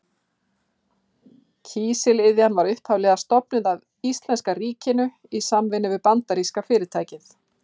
Kísiliðjan var upphaflega stofnuð af íslenska ríkinu í samvinnu við bandaríska fyrirtækið